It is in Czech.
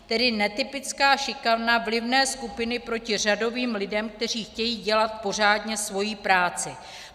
Tedy netypická šikana vlivné skupiny proti řadovým lidem, kteří chtějí dělat pořádně svoji práci."